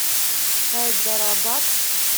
хайдарабад